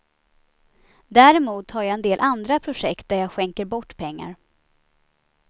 Däremot har jag en del andra projekt där jag skänker bort pengar.